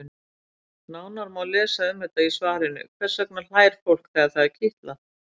Nánar má lesa um þetta í svarinu Hvers vegna hlær fólk þegar það er kitlað?